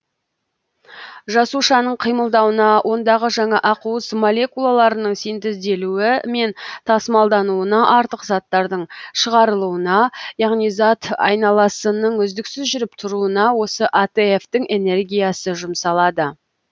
жасушаның қимылдауына ондағы жаңа ақуыз молекулаларының синтезделуі мен тасымалдануына артық заттардың шығарылуына яғни зат айналысының үздіксіз жүріп тұруына осы атф тің энергиясы жұмсалады